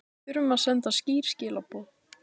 Við þurfum að senda skýr skilaboð